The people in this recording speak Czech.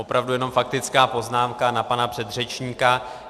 Opravdu jenom faktická poznámka na pana předřečníka.